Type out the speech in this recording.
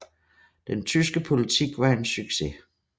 Den tyske politik var en succes